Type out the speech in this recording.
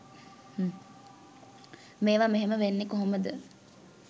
මේවා මෙහෙම වෙන්නේ කොහොමද?